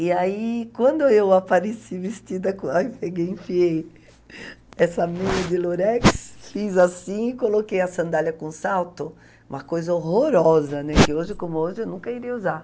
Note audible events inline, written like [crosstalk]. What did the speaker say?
E aí, quando eu apareci vestida com [unintelligible] peguei, enfiei essa meia de lurex, fiz assim e coloquei a sandália com salto, uma coisa horrorosa, né, que hoje como hoje eu nunca iria usar.